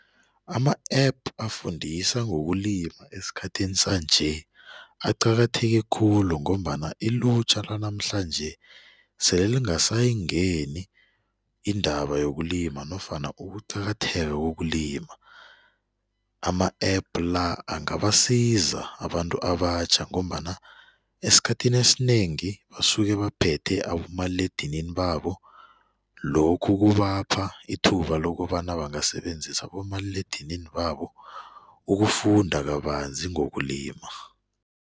Ama-app afundisa ngokulima esikhathini sanje aqakatheke khulu ngombana ilutjha lanamhlanje sele lingasayingeni iindaba yokulima nofana ukuqakatheka kokulima. Ama-app-la angabasiza abantu abatjha ngombana esikhathini esinengi basuke baphethe abomaliledinini babo lokhu kubapha ithuba lokobana bangasebenzisi abomaliledinini babo ukufunda kabanzi ngokulima.